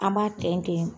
An b'a tɛntɛn